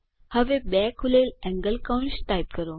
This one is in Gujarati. અને બે ખૂલેલ એંગલ કૌંસ ટાઇપ કરો